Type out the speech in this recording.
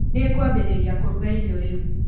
Nĩngũambĩrĩria kũruga irio rĩu.